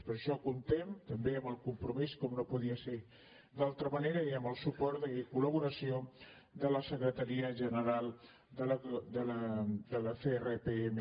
per això comptem també amb el compromís como no podia ser d’altra manera i amb el suport i col·laboració de la secretaria general de la crpm